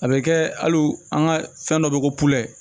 A bɛ kɛ hali u an ka fɛn dɔ bɛ ko